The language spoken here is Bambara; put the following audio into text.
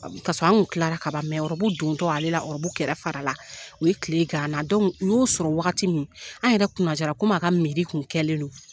Kasɔrɔ an tilara kaban rɔbu dontɔla ale la rɔbu kɛrɛ fara la u ye tile gan an na u y'o sɔrɔ wagati min an yɛrɛ kunnajara komi a ka kun kɛlen don.